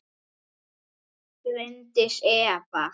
Bryndís Eva.